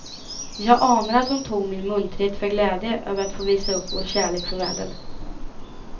Jag anade att hon tog min munterhet för glädje över att få visa upp vår kärlek för världen.